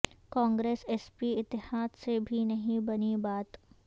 Congress S P اتحاد سے بھی نہیں بنی بات